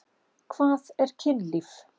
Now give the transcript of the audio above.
Hvað er kynlíf?